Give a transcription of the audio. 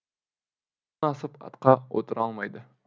асып атқа отыра алмайды